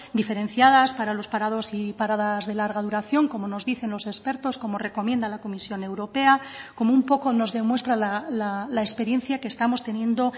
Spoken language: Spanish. diferenciadas para los parados y paradas de larga duración como nos dicen los expertos como recomienda la comisión europea como un poco nos demuestra la experiencia que estamos teniendo